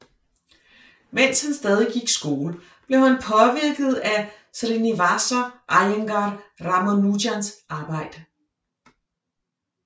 Mens han stadig gik i skole blev han påvirket af Srinivasa Aiyangar Ramanujans arbejde